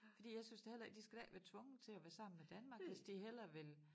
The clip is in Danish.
Fordi jeg synes da heller ikke de skal da ikke være tvunget til at være sammen med Danmark hvis de hellere vil